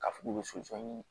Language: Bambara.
Ka fu k'u bɛ soso ɲini